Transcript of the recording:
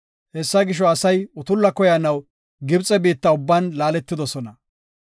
Hessa gisho asay utulla koyanaw Gibxe biitta ubban laaletidosona.